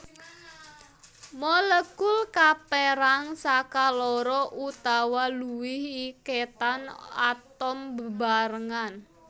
Molekul kapérang saka loro utawa luwih iketan atom bebarengan